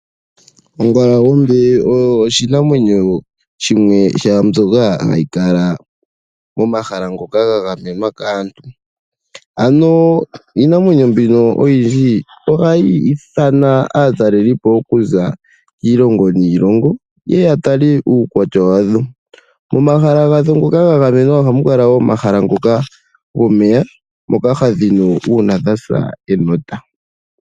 Ongalangombe oyo oshinamwenyo shimwe shomwaa mbyoka shoka hashi kala momahala ngoka ga gamenwa kaantu. Ano iinamwenyo mbino oyindji ohayi ithana aataleli po okuza kiilongo niilongo yeye ya tale uukwatya wadho. Momahala gawo ngoka ga gamwenwa ohamu kala omahala moka muna omeya moka hadhi nu uuna dhana enota